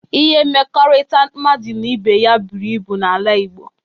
Ihe mmekọrịta mmadụ na ibe ya buru ibu n'ala igbo